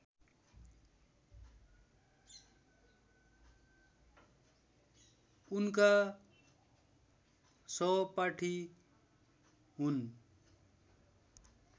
उनका सहपाठी हुन्